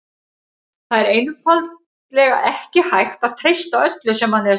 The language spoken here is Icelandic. Það er einfaldlega ekki hægt að treysta öllu sem manni er sagt.